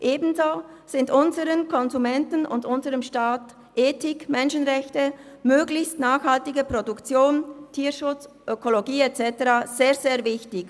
Ebenso sind unseren Konsumenten und unserem Staat Ethik, Menschenrechte, eine möglichst nachhaltige Produktion, Tierschutz, Ökologie und so weiter sehr, sehr wichtig.